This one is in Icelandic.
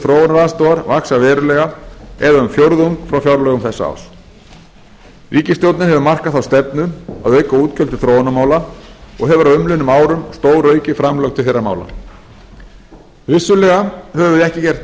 þróunaraðstoðar vaxa verulega eða um fjórðung frá fjárlögum þessa árs ríkisstjórnin hefur markað þá stefnu að auka útgjöld til þróunarmála og hefur á umliðnum árum stóraukið framlög til þeirra mála vissulega höfum við ekki gert nóg en